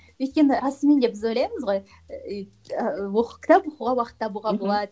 өйткені расымен де біз ойлаймыз ғой ыыы кітап оқуға уақыт табуға болады мхм